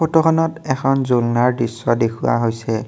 ফটোখনত এখন জুলনাৰ দৃশ্য দেখুওৱা হৈছে।